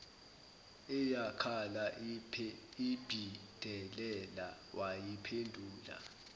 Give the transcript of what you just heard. eyakhala iphindelela wayiphendula